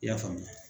I y'a faamuya